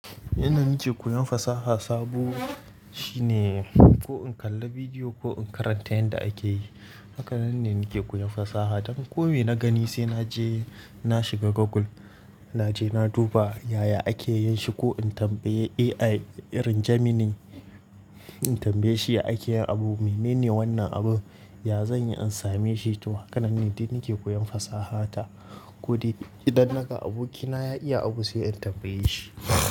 Yanda nake koyan fasaha sabo shine ko in kalla bidiyo ko in karanta yanda ake yi. Hakanan ne nake koyan fasaha. Dan ko me na gani sai naje na shiga Google, naje na duba yaya ake yin shi ko in tambayi AI irin Gemini, in tambaye shi ya ake yin abu. Mene ne wannan abun? Ya zanyi in same shi. To, hakanan ne dai nake koyon fasaha ta. Kodai idan naga aboki na ya iya abu sai in tambaye shi.